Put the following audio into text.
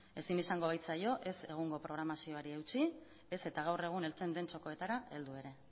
ezin izango baitzaio ez egungo programazioari eutsi ez eta gaur egun heltzen den txokoetara heldu ere